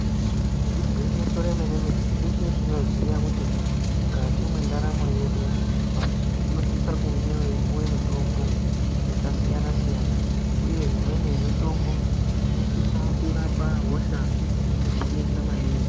Igwinyiso remenemene teshe tinoziya kuti mukati mwendaramo yedu vanhu vanosise kunge veipiwa mitombo yakasiyana siyana uye imweni yemitombo inosisa kurapa hosha dzanetsa maningi .